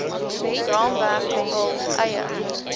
raamwerk hul eie